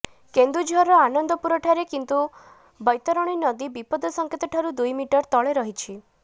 କେନ୍ଦୁଝରର ଆନନ୍ଦପୁରଠାରେ କିନ୍ତୁ ବୈତରଣୀ ନଦୀ ବିପଦ ସଙ୍କେତଠାରୁ ଦୁଇ ମିଟର ତଳେ ରହିଛି